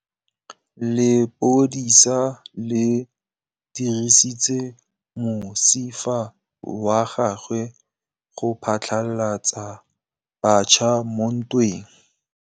Lepodisa le dirisitse mosifa wa gagwe go phatlalatsa batšha mo ntweng.